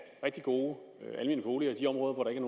rigtig gode almene boliger i de områder hvor der ikke